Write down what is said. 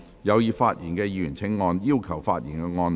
有意發言的議員請按"要求發言"按鈕。